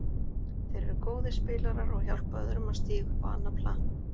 Þeir eru góðir spilarar og hjálpa öðrum að stíga upp á annað plan.